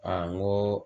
n ko